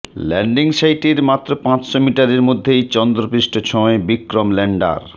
landing সাইটের মাত্র পাঁচশো মিটারের মধ্যেই চন্দ্রপৃষ্ঠ ছোঁয় বিক্রম ল্যান্ডার